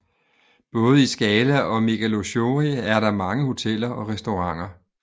Både i Skala og Megalochori er der mange hoteller og restauranter